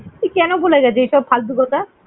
তুই কেন বলে যাচ্ছিস এসব ফালতু কথা?